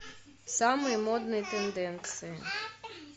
самые модные тенденции